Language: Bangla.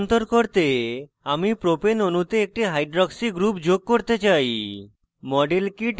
propanol propane a রূপান্তর করতে আমি propane অণুতে একটি hydroxy oh group যোগ করতে চাই